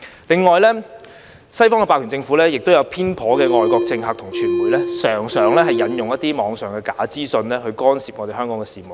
另外，西方霸權政府、偏頗的外國政客及傳媒，常常引用一些網上的假資訊去干涉香港的事務。